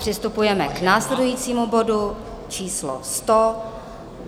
Přistupujeme k následujícímu bodu číslo